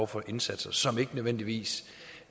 for indsatser som måske ikke nødvendigvis